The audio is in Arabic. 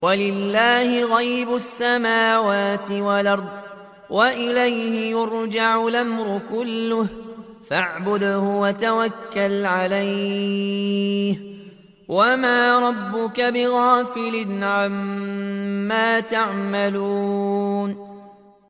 وَلِلَّهِ غَيْبُ السَّمَاوَاتِ وَالْأَرْضِ وَإِلَيْهِ يُرْجَعُ الْأَمْرُ كُلُّهُ فَاعْبُدْهُ وَتَوَكَّلْ عَلَيْهِ ۚ وَمَا رَبُّكَ بِغَافِلٍ عَمَّا تَعْمَلُونَ